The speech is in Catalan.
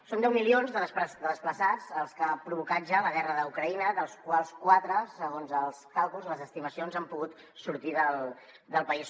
són deu milions de desplaçats els que ha provocat ja la guerra d’ucraïna dels quals quatre segons els càlculs les estimacions han pogut sortir del país